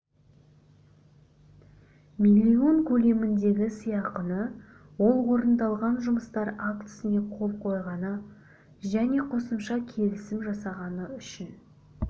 миллион көлеміндегі сыйақыны ол орындалған жұмыстар актісіне қол қойғаны және қосымша келісім жасағаны үшін